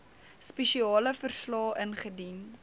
spesiale verslae ingedien